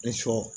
Ni sɔ